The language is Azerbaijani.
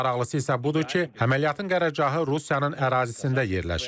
Həm maraqlısı isə budur ki, əməliyyatın qərargahı Rusiyanın ərazisində yerləşib.